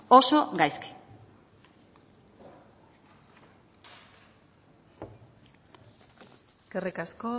oso gaizki eskerrik asko